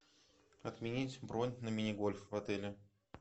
отменить бронь на мини гольф в отеле